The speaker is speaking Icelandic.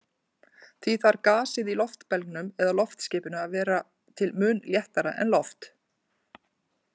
Því þarf gasið í loftbelgnum eða loftskipinu að vera til muna léttara en loft.